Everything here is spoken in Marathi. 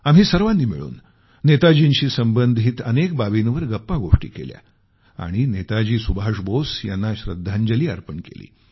आम्ही सर्वांनी मिळून नेताजीशी संबंधित अनेक बाबींवर गप्पागोष्टी केल्या आणि नेताजी सुभाष बोस यांना श्रद्धांजली अर्पण केली